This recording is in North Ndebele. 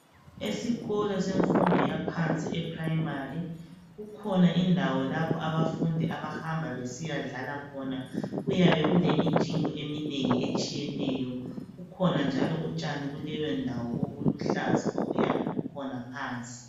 Esikolo semfundo yaphansi eprimary. Kukhona indawo lapho abafundi abahamba besiyadlala khona Kuyabe kulemijingo eminengi etshiyeneyo. Kukhona njalo utshani kuleyondawo obuluhlaza, obuyabe bukhona phansi.